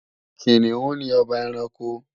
Kìnìún ni ọba ẹranko